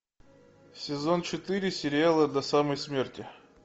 сезон четыре сериала до самой смерти